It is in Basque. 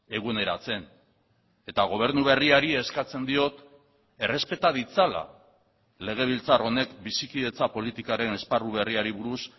eguneratzen eta gobernu berriari eskatzen diot errespeta ditzala legebiltzar honek bizikidetza politikaren esparru berriari buruz